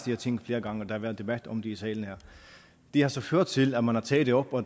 her ting flere gange og der har været debat om det i salen her har så ført til at man har taget det op og